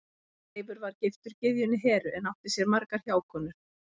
Seifur var giftur gyðjunni Heru en átti sér margar hjákonur.